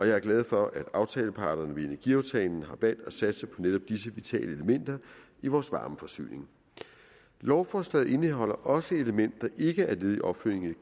jeg er glad for at aftaleparterne i energiaftalen har valgt at satse på netop disse vitale elementer i vores varmeforsyning lovforslaget indeholder også elementer som ikke er led i opfølgningen